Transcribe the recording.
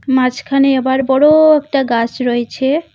মাঝখানে আবার বড়ো একটা গাছ রয়েছে।